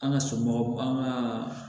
An ka somɔgɔw an ka